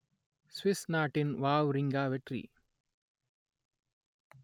Swiss நாட்டின் Wawrinka வெற்றி